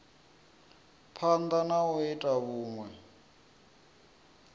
phanda na u ita vhunwe